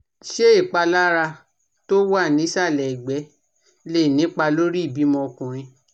Ṣé ìpalára tó wà nísàlẹ̀ ẹgbe lè nípa lórí ìbímọ ọkùnrin?